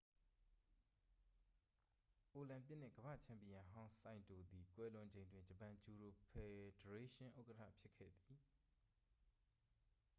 အိုလံပစ်နှင့် ကမ္ဘာ့ချန်ပီယံဟောင်း ဆိုင်တိုသည် ကွယ်လွန်ချိန်တွင် ဂျပန်ဂျူဒို ဖယ်ဒရေးရှင်း ဥက္ကဌဖြစ်ခဲ့သည်